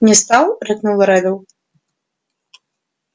не стал рыкнул реддл